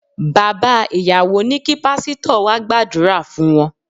Bàbá ìyàwó ní kí Pásítọ̀ wá gbàdúrà fún wọn.